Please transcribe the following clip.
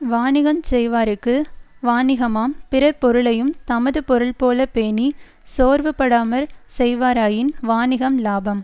வாணிகஞ் செய்வார்க்கு வாணிகமாம் பிறர் பொருளையுந் தமது பொருள்போலப் பேணிச் சோர்வுபடாமற் செய்வாராயின் வாணிகம் இலாபம்